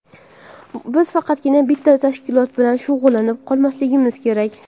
Biz faqatgina bitta tashkilot bilan shug‘ullanib qolmasligimiz kerak.